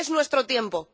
Es nuestro tiempo.